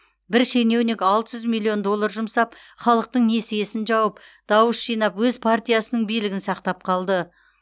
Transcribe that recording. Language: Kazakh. бір шенеунік алты жүз миллион доллар жұмсап халықтың несиесін жауып дауыс жинап өз партиясының билігін сақтап қалды